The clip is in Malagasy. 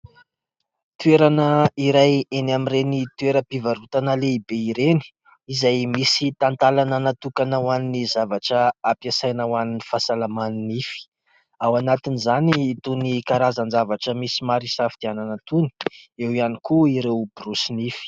Toerana iray eny amin'ireny toeram-pivarotana lehibe ireny, izay misy talantalana natokana ho an'ny zavatra ampiasaina ho an'ny fahasalaman'ny nify, ao anatin'izany itony karazan-javatra misy maro hisafidianana itony ; eo ihany koa ireo borosy nify.